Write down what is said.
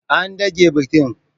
An dage bikin.